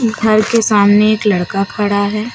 घर के सामने एक लड़का है।